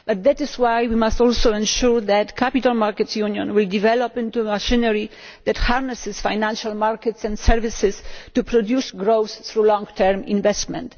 that is why we must also ensure that the capital markets union will develop into a synergy that harnesses financial markets and services to produce growth through long-term investment.